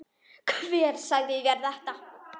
Hver sagði þér þetta?